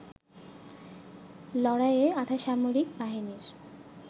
লড়াইয়ে আধাসামরিক বাহিনীর